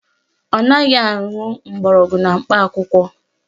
Ọ naghị aṅụ mgbọrọgwụ na mkpa akwụkwọ